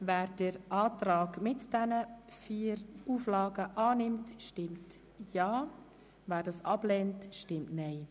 Wer den Verpflichtungskredit mit den angenommenen Auflagen annimmt, stimmt Ja, wer dies ablehnt, stimmt Nein.